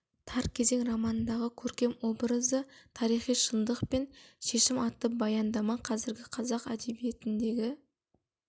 тар кезең романындағы көркем образы тарихи шындық пен шешім атты баяндама қазіргі қазақ әдебиетіндегі